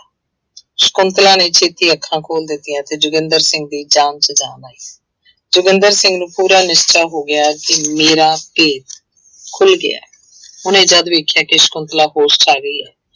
ਸਕੁੰਤਲਾ ਨੇ ਛੇਤੀ ਅੱਖਾਂ ਖੋਲ ਦਿੱਤੀਆਂ ਤੇ ਜੋਗਿੰਦਰ ਸਿੰਘ ਦੀ ਜਾਨ ਚ ਜਾਨ ਆਈ, ਜੋਗਿੰਦਰ ਸਿੰਘ ਨੂੰ ਪੂਰਾ ਨਿਸ਼ਚਾ ਹੋ ਗਿਆ ਕਿ ਮੇਰਾ ਭੇਤ ਖੁੱਲ ਗਿਆ ਹੈ ਉਹਨੇ ਜਦ ਵੇਖਿਆ ਕਿ ਸਕੁੰਤਲਾ ਹੋਸ਼ ਚ ਆ ਗਈ ਹੈ,